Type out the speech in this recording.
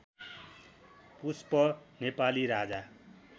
पुष्प Nepali राजा